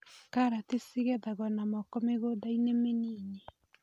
Karati cigethagwo na moko mĩgũndainĩ mĩnini.